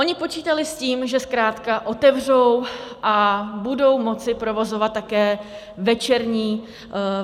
Oni počítali s tím, že zkrátka otevřou a budou moci provozovat také večerní provoz.